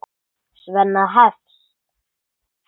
Svenna hefst.